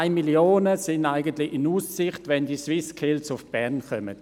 2 Mio. Franken werden in Aussicht gestellt, wenn die SwissSkills nach Bern kommen.